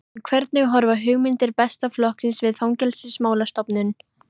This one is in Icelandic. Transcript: En hvernig horfa hugmyndir Besta flokksins við Fangelsismálastofnun?